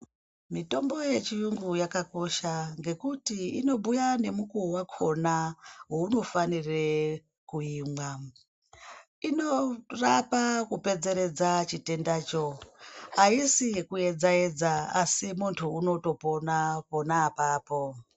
Mitombo yechiyungu yakakosha ngekuti inobhuya ngenguwa wakhona wainofanire kuimwa. Inorapa kupedzeredza aisi yekuedza edza asi muntu unotopona pona apapo.